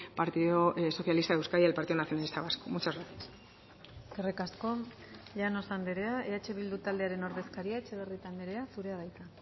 partido socialista de euskadi y el partido nacionalista vasco muchas gracias eskerrik asko llanos andrea eh bildu taldearen ordezkaria etxebarrieta andrea zurea da hitza